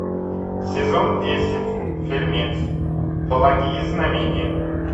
сезон десять фильмец благие знамения